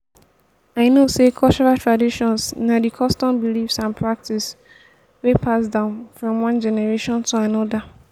i know say cultural traditions na di customs beliefs and practices wey pass down from one generation to anoda.